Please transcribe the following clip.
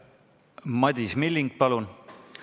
Madis Milling, palun!